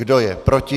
Kdo je proti?